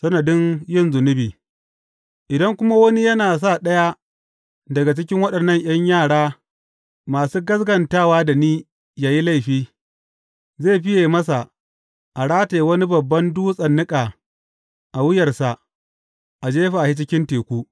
Sanadin yin zunubi Idan kuma wani yă sa ɗaya daga cikin waɗannan ’yan yara masu gaskatawa da ni yă yi laifi, zai fiye masa a rataya wani babban dutsen niƙa a wuyarsa, a jefa shi cikin teku.